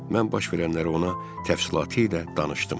Mən baş verənləri ona təfsilatı ilə danışdım.